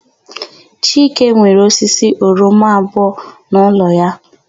Chike nwere osisi oroma abụọ n'ụlọ ya.